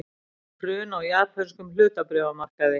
Hrun á japönskum hlutabréfamarkaði